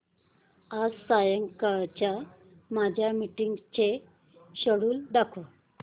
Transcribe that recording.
आज संध्याकाळच्या माझ्या मीटिंग्सचे शेड्यूल दाखव